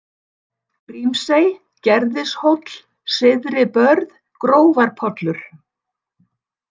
Grímsey, Gerðishóll, Syðribörð, Grófarpollur